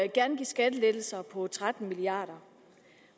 gerne give skattelettelser på tretten milliard